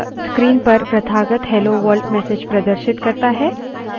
यह screen पर प्रथागत hello world message प्रदर्शित करता है